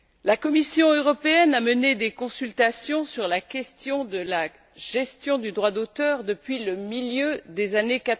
La Commission européenne a mené des consultations sur la question de la gestion du droit d'auteur depuis le milieu des années